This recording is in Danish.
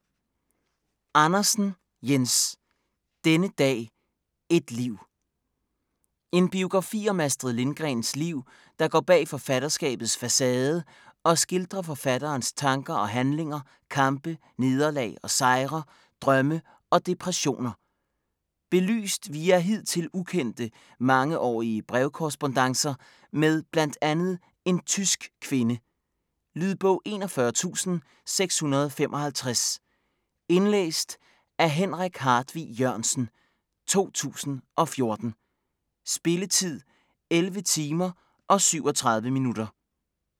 Andersen, Jens: Denne dag, et liv En biografi om Astrid Lindgrens liv der går bag forfatterskabets facade og skildrer forfatterens tanker og handlinger, kampe, nederlag og sejre, drømme og depressioner. Belyst via hidtil ukendte, mangeårige brevkorrespondancer med blandt andet en tysk kvinde. Lydbog 41655 Indlæst af Henrik Hartvig Jørgensen, 2014. Spilletid: 11 timer, 37 minutter.